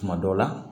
Tuma dɔ la